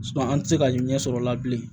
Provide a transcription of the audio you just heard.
an tɛ se ka ɲɛsɔrɔ o la bilen